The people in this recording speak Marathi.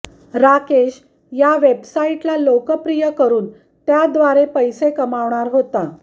राकेश या वेबसाईटला लोकप्रिय करून त्याव्दारे पैसे कमवणार होता